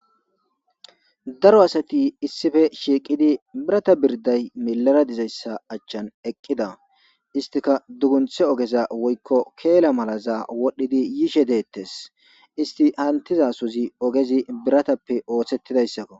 Daro asati issife shiiqidi birata birday milara dizayssa achchan eqqida istika dugunthe ogeza woykko keela malazaa wodhdhidi yiishe deettes isti hantiza suzi ogezi biratappe oothshettidayssakko.